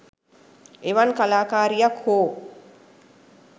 එවන් කලා කාරියක් හෝ